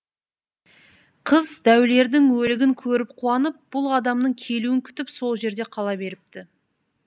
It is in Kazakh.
қыз дәулердің өлігін көріп қуанып бұл адамның келуін күтіп сол жерде қала беріпті